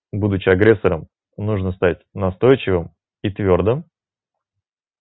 будучи агрессором нужно стать настойчивым и твёрдым